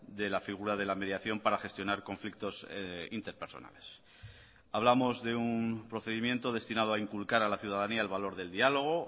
de la figura de la mediación para gestionar conflictos interpersonales hablamos de un procedimiento destinado a inculcar a la ciudadanía el valor del diálogo